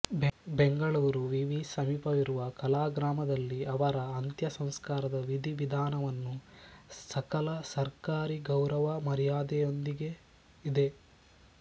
ಬೆಂಗಳೂರು ವಿ ವಿ ಸಮೀಪವಿರುವ ಕಲಾಗ್ರಾಮದಲ್ಲಿ ಅವರ ಅಂತ್ಯ ಸಂಸ್ಕಾರದ ವಿಧಿ ವಿಧಾನವನ್ನು ಸಕಲ ಸರ್ಕಾರಿ ಗೌರವ ಮರ್ಯಾದೆಯೊಂದಿಗೆ ದಿ